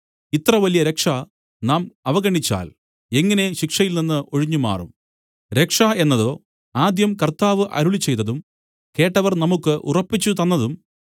ഇത്രവലിയ രക്ഷ നാം അവഗണിച്ചാൽ എങ്ങനെ ശിക്ഷയിൽനിന്ന് ഒഴിഞ്ഞുമാറും രക്ഷ എന്നതോ ആദ്യം കർത്താവ് അരുളിച്ചെയ്തതും കേട്ടവർ നമുക്കു ഉറപ്പിച്ചുതന്നതും